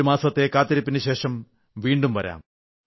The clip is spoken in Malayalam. ഒരു മാസത്തെ കാത്തിരിപ്പിനുശേഷം വീണ്ടും വരാം